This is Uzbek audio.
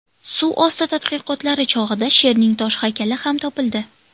Suv osti tadqiqotlari chog‘ida sherning tosh haykali ham topildi.